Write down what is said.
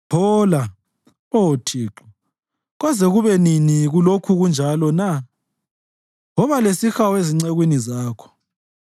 Phola, Oh Thixo! Koze kube nini kulokhu kunjalo na? Woba lesihawu ezincekwini zakho.